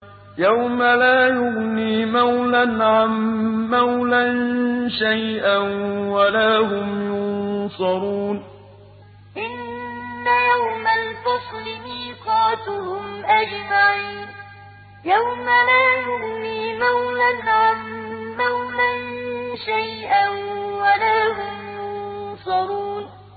يَوْمَ لَا يُغْنِي مَوْلًى عَن مَّوْلًى شَيْئًا وَلَا هُمْ يُنصَرُونَ يَوْمَ لَا يُغْنِي مَوْلًى عَن مَّوْلًى شَيْئًا وَلَا هُمْ يُنصَرُونَ